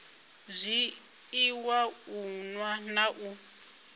zwiiwa u nwa na u